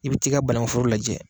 I bɛ t'i ka banakun foro lajɛ.